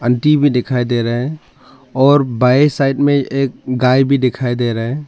TV दिखाई दे रहा है और बाए साइड में एक गाय भी दिखाई दे रहा है।